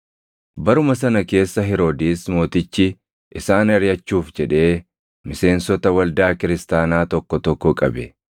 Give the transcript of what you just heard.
Baruma sana keessa Heroodis mootichi isaan ariʼachuuf jedhee miseensota waldaa kiristaanaa tokko tokko qabe.